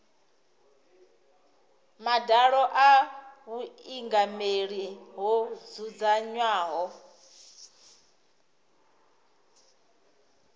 madalo a vhuingameli ho dzudzanywaho